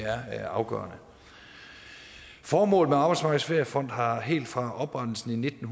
er afgørende formålet med arbejdsmarkedets feriefond har helt fra oprettelsen i nitten